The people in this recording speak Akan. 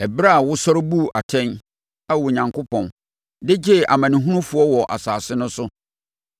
ɛberɛ a wosɔre buu atɛn, Ao Onyankopɔn, de gyee amanehunufoɔ wɔ asase no so.